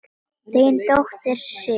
Þín dóttir, Sif.